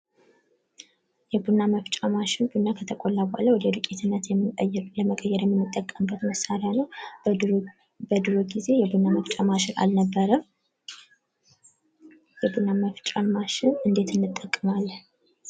የቡና መፍጫ ማሽን ቡና ከተቆላ በኋላ ወደ ዱቄት ለመቀየር የምንጠቀምበት መሳሪያ ነው ። በድሮ ጊዜ የቡና ማፍጫ ማሽን አልነበረም ። ቡና መፍጫ ማሽንን እንዴት እንጠቀመዋለን ?